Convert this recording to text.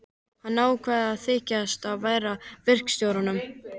Hann ákvað að þykjast ekki heyra til verkstjórans.